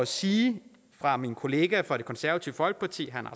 sige fra min kollega fra det konservative folkeparti herre